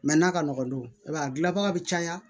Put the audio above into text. n'a ka nɔgɔn don i b'a ye a gilanbaga bɛ caya